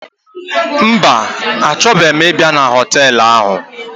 Mba, achọbeghi ịbịa na họtelụ ahụ.